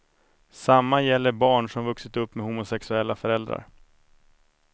Samma gäller barn som vuxit upp med homosexuella föräldrar.